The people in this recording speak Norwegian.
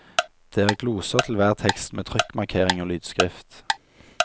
Det er gloser til hver tekst med trykkmarkering og lydskrift.